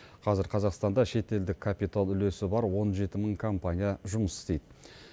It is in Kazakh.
қазір қазақстанда шетелдік капитал үлесі бар он жеті мың компания жұмыс істейді